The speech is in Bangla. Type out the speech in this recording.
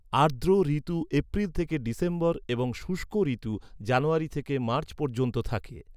আর্দ্র ঋতু এপ্রিল থেকে ডিসেম্বর এবং শুষ্ক ঋতু জানুয়ারি থেকে মার্চ পর্যন্ত থাকে।